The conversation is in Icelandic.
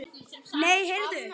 Nei, heyrðu!